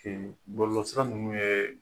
Bɔlɔlɔ sira ninnu ye